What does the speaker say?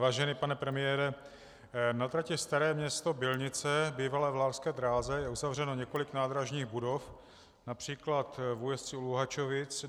Vážený pane premiére, na trati Staré Město - Bylnice, bývalé vlárské dráze, je uzavřeno několik nádražních budov, například v Újezdci u Luhačovic.